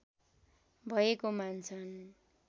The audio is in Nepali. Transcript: भएको मान्छन्